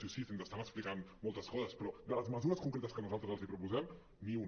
sí sí si ens estan explicant moltes coses però de les mesures con·cretes que nosaltres els proposem ni una